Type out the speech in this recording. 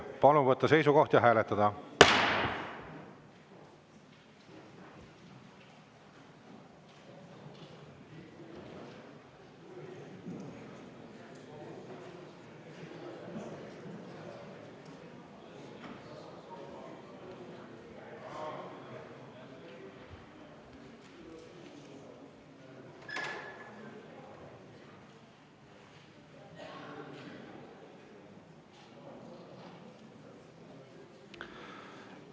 Palun võtta seisukoht ja hääletada!